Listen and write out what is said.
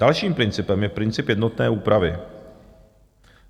Dalším principem je princip jednotné úpravy.